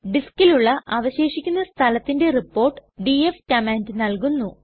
ഡിസ്കിലുള്ള അവശേഷിക്കുന്ന സ്ഥലത്തിന്റെ report df command നല്കുന്നു